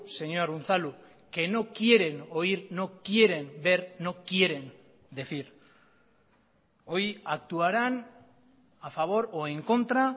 señor unzalu que no quieren oír no quieren ver no quieren decir hoy actuarán a favor o en contra